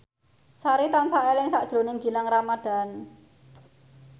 Sari tansah eling sakjroning Gilang Ramadan